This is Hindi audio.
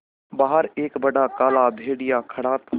बाहर एक बड़ा काला भेड़िया खड़ा था